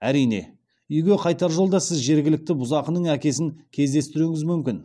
әрине үйге қайтар жолда сіз жергілікті бұзақының әкесін кездестіруіңіз мүмкін